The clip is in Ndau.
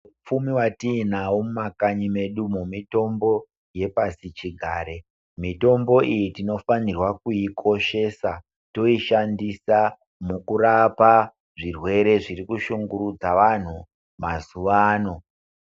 Hupfumi watiinahwo mumakanyi medu mitombo yepasi chigare mitombo iyi tino fanirwa kuyikoshesa toishandisa mukurapa zvirwere zviri kushungurudza vantu mazuva ano.